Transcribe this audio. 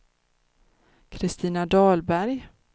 Kristina Dahlberg